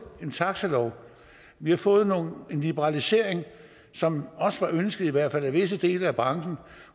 en taxalov vi har fået en liberalisering som også var ønsket i hvert fald af visse dele af branchen